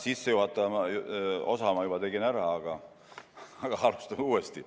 Sissejuhatava osa ma juba tegin ära, aga alustame uuesti.